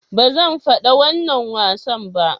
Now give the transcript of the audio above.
"Ba zan fada wannan wasan ba."